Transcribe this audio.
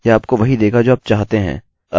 अब हम यह प्रयोगकर्ता के लिए एकोechoनहीं कर रहे हैं